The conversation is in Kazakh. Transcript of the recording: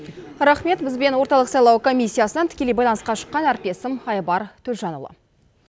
рахмет бізбен орталық сайлау комиссиясынан тікелей байланысқа шыққан әріптесім айбар төлжанұлы